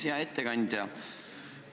Hea ettekandja!